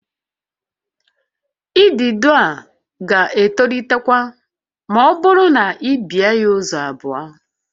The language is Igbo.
Idido a ga-etolitekwa ma ọ bụrụ na i bee ya ụzọ abụọ